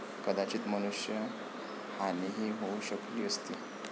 कदाचित मनुष्य हानीही होऊ शकली असती.